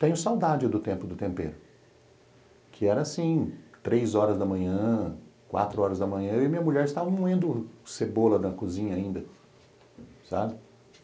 Tenho saudade do tempo do tempero, que era assim, três horas da manhã, quatro horas da manhã, eu e minha mulher estávamos moendo cebola na cozinha ainda, sabe?